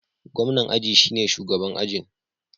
Gwamnan aji shine shugaban ajin.